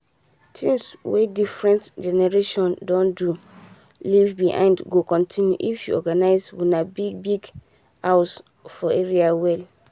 things wey different generations don do leave behind go continue if you organize una big-big house for area well.